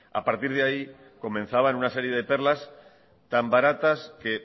a partir de ahí comenzaban una serie de perlas tan baratas que